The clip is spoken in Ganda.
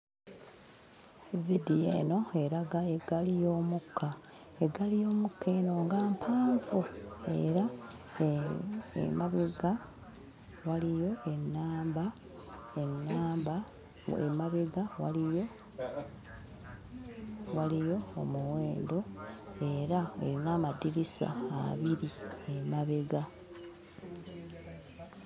Viidiyo eno eraga eggaali y'omukka. Eggaali y'omukka eno nga mpanvu era emabega waliyo ennamba, ennamba emabega waliyo waliyo omuwendo era erina amadirisa abiri emebega.